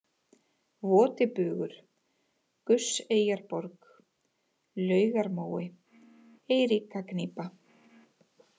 Votibugur, Gusseyjarborg, Laugarmói, Eiríkagnýpa